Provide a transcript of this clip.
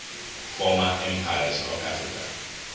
former empires of africa